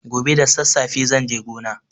Gobe da sassafe zan je gona.